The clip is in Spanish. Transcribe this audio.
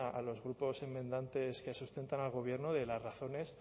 a los grupos enmendantes que sustentan al gobierno las razones